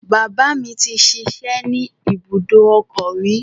Bàbá mi ti ṣiṣẹ́ ní ibùdòkọ́ rí.